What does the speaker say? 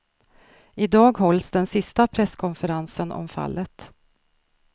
I dag hålls den sista presskonferensen om fallet.